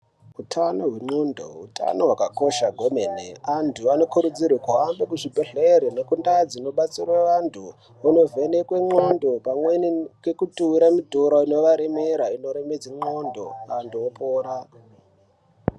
Hutano hwengonxo hutano hwakakosha kwemene antu anokurudzirwa kuhambe kuzvibhedhlera nekundau dzinobatsirwa antu kundovhenekwa ngonxo pamweni ngekutura mutoro unovaremera inoremedza ngonxo antu opora.